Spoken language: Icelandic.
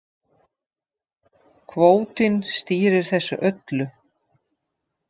Kvótinn stýrir þessu öllu